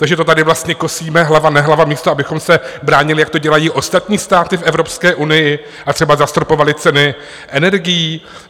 Takže to tady vlastně kosíme hlava nehlava, místo abychom se bránili, jak to dělají ostatní státy v Evropské unii, a třeba zastropovali ceny energií?